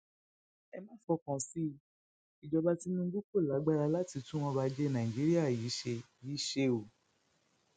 ẹ má fọkàn sí i ìjọba tinubu kò lágbára láti tún ọrọajé nàìjíríà yìí ṣe yìí ṣe o